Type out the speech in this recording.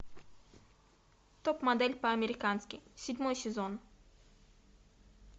топ модель по американски седьмой сезон